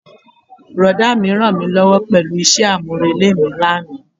Brọ̀dá mi rànmílówó pẹ̀lú isẹ́ àmúrelé mi lánàá.